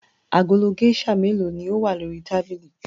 Agolo géíṣà mélòó ni ó wà ní orí tábìlì?